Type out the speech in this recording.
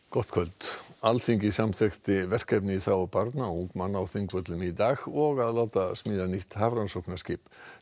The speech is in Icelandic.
gott kvöld Alþingi samþykkti verkefni í þágu barna og ungmenna á Þingvöllum í dag og að láta smíða nýtt hafrannsóknaskip